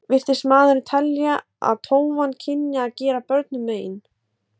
Virtist maðurinn telja að tófan kynni að gera börnunum mein.